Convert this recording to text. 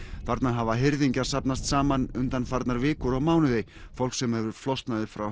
þarna hafa hirðingjar safnast saman undanfarnar vikur og mánuði fólk sem hefur flosnað upp frá